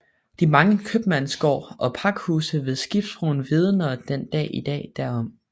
De mange kømandsgård og pakhuse ved Skibsbroen vidner den dag i dag derom